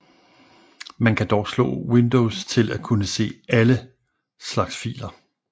Man kan dog slå Windows til at kunne se ALLE slags filer